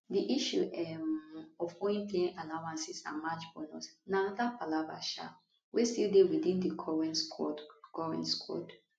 di issue um of owing playing allowances and match bonus na anoda palava um wey still dey within di current squad current squad